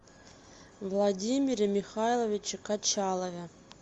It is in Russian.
владимире михайловиче качалове